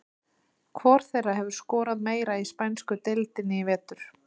Hvor þeirra hefur skorað meira í spænsku deildinni í vetur?